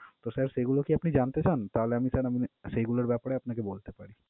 তো sir সেইগুলো কি আপনি জানতে চান? তাহলে আমি sir আহ মানে সেইগুলোর ব্যাপারে আপনাকে বলতে পারি।